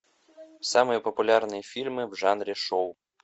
самые популярные фильмы в жанре шоу